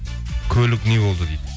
көлік не болды дейді